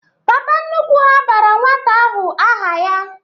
Papa nnukwu ha bara nwata ahụ aha ya